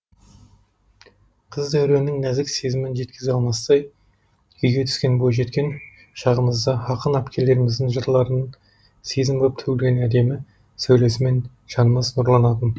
қыз дәуреннің нәзік сезімін жеткізе алмастай күйге түскен бойжеткен шағымызда ақын әпкелеріміздің жырларының сезім боп төгілген әдемі сәулесімен жанымыз нұрланатын